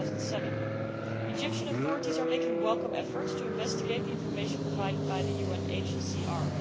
2007. The Egyptian authorities are making welcome efforts to investigate the information provided by the UNHCR.